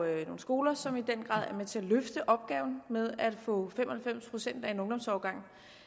jo nogle skoler som i den grad er med til at løfte opgaven med at få fem og halvfems procent af en ungdomsårgang